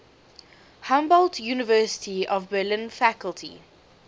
humboldt university of berlin faculty